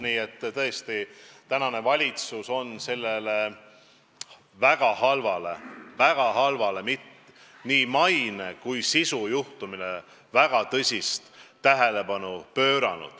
Nii et tõesti, valitsus pöörab sellele väga halvale juhtumile – väga halvale nii maine kui sisu seisukohast – väga tõsist tähelepanu.